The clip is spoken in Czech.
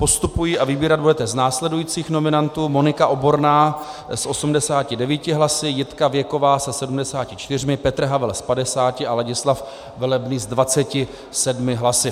Postupují a vybírat budete z následujících nominantů: Monika Oborná s 89 hlasy, Jitka Věková se 74, Petr Havel s 50 a Ladislav Velebný s 27 hlasy.